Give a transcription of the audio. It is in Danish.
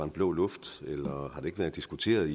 blå luft eller har det ikke været diskuteret